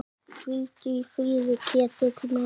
Hvíldu í friði, Ketill minn.